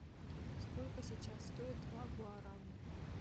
сколько сейчас стоит два гуарани